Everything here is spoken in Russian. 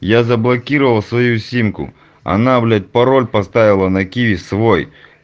я заблокировал свою симку она блять пароль поставила на киви свой